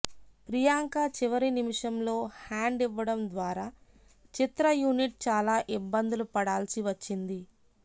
ప్రియాంక చివరి నిమిషంలో హ్యాండ్ ఇవ్వడం ద్వారా చిత్ర యూనిట్ చాలా ఇబ్బందులు పడాల్సి వచ్చింది